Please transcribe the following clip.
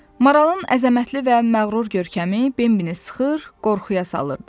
Maralın əzəmətli və məğrur görkəmi Bembinin sıxır, qorxuya salırdı.